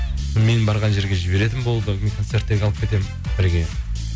менің барған жерге жіберетін болды концерттерге алып кетемін бірге